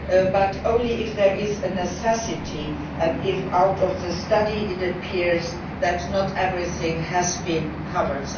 But only if there is a necessity and if from the study it appears that not everything has been covered.